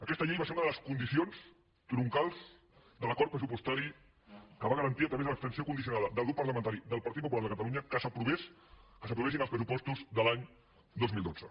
aquesta llei va ser una de les condicions troncals de l’acord pressupostari que va garantir a través de l’abstenció condicionada del grup parlamentari del partit popular de catalunya que s’aprovessin els pressupostos de l’any dos mil dotze